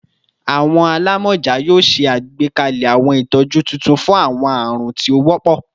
Awọn alamọja yoo ṣe agbekalẹ awọn itọju tuntun fun awọn arun ti o wọpọ